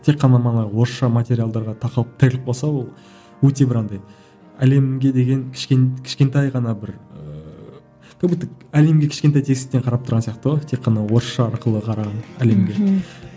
тек қана мана орысша материалдарға тақап тіреліп қалса ол өте бір андай әлемге деген кішкентай ғана бір ііі как будто әлемге кішкентай тесіктен қарап тұрған сияқты ғой тек қана орысша арқылы қараған әлемге